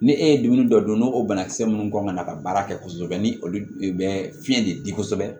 Ni e ye dumuni dɔ don n'o banakisɛ ninnu kɔnɔnana ka baara kɛ kosɛbɛ ni olu de bɛ fiɲɛ de di kosɛbɛ